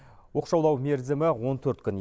оқшаулау мерзімі он төрт күн